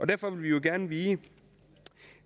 derfor vil vi jo gerne vide